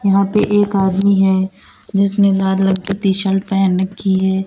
यहां पे एक आदमी है जिसने लाल रंग की टी शर्ट पहन रखी है।